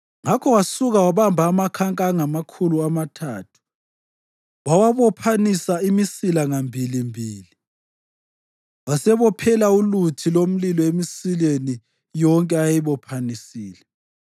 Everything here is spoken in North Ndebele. Ngakho wasuka wabamba amakhanka angamakhulu amathathu wawabophanisa imisila ngambilimbili. Wasebophela uluthi lomlilo emisileni yonke ayeyibophanisile,